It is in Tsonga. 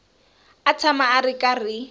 a tshama a ri karhi